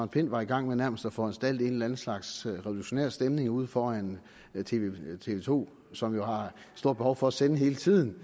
pind var i gang med nærmest at foranstalte en eller anden slags revolutionær stemning ude foran tv to som jo har et stort behov for at sende hele tiden